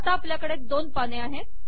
आता आपल्याकडे दोन पाने आहेत